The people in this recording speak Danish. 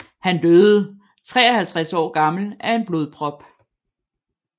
Han døde 53 år gammel af en blodprop